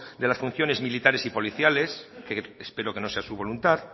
de las funciones militares y policiales que espero que no sea su voluntad